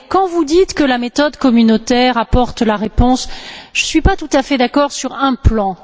Mais, quand vous dites que la méthode communautaire apporte la réponse, je ne suis pas tout à fait d'accord sur un plan.